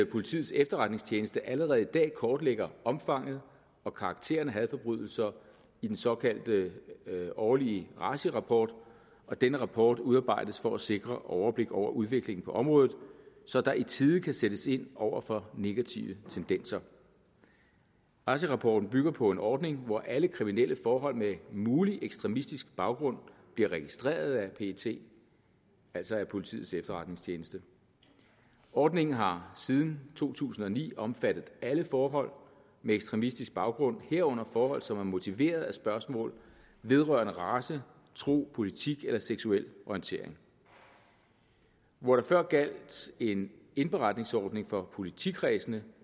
politiets efterretningstjeneste allerede i dag kortlægger omfanget og karakteren af hadforbrydelser i den såkaldte årlige raci rapport og denne rapport udarbejdes for at sikre overblik over udviklingen på området så der i tide kan sættes ind over for negative tendenser raci rapporten bygger på en ordning hvor alle kriminelle forhold med mulig ekstremistisk baggrund bliver registreret af pet altså af politiets efterretningstjeneste ordningen har siden to tusind og ni omfattet alle forhold med ekstremistisk baggrund herunder forhold som er motiveret af spørgsmål vedrørende race tro politik eller seksuel orientering hvor der før gjaldt en indberetningsordning for politikredsene